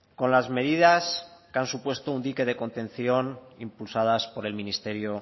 con las medidas que han supuesto un dique de contención impulsadas por el ministerio